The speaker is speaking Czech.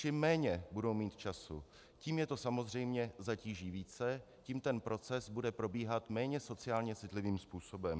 Čím méně budou mít času, tím je to samozřejmě zatíží více, tím ten proces bude probíhat méně sociálně citlivým způsobem.